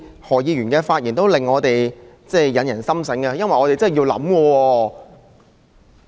何議員的發言總是發人深省，我們真的要考慮。